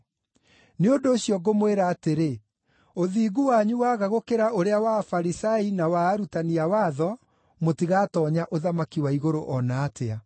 Nĩ ũndũ ũcio ngũmwĩra atĩrĩ, ũthingu wanyu waga gũkĩra ũrĩa wa Afarisai na wa arutani a watho, mũtigatoonya ũthamaki wa igũrũ o na atĩa.